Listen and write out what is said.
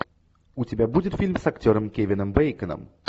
у тебя будет фильм с актером кевином бэйконом